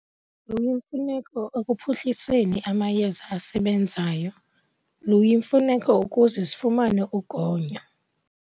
Luyimfuneko ekuphuhliseni amayeza asebenzayo, luyimfuneko ukuze sifumane ugonyo.